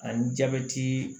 A ni jabɛti